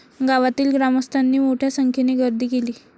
गावातील ग्रामस्थांनी मोठ्या संख्येने गर्दी केली.